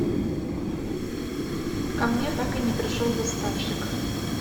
ко мне так и не пришел доставщик